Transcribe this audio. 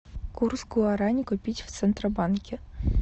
курс гуарани купить в центробанке